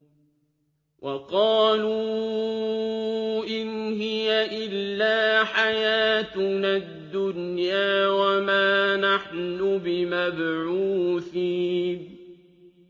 وَقَالُوا إِنْ هِيَ إِلَّا حَيَاتُنَا الدُّنْيَا وَمَا نَحْنُ بِمَبْعُوثِينَ